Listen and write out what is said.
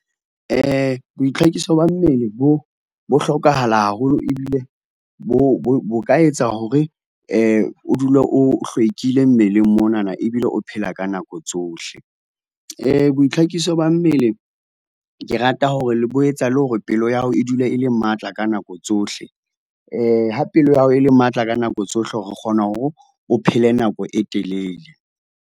Boitlhakiso ba mmele bo, bo hlokahala haholo ebile bo, bo, bo ka etsa hore, o dule o hlwekile mmeleng monana ebile o phela ka nako tsohle. Boitlhakiso ba mmele ke rata hore le bo etsa le hore pelo ya hao e dule e le matla ka nako tsohle, ha pelo ya hao e le matla ka nako tsohle o kgona hore, o phele nako e telele.